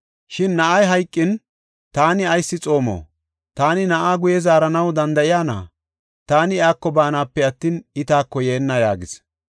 Shin, “Na7ay hayqin, taani ayis xoomo? Taani na7aa guye zaaranaw danda7iyana? Taani iyako baana, I taako yeenna” yaagis.